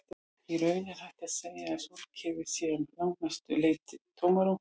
Í raun er hægt að segja að sólkerfið sé að langmestu leyti tómarúm.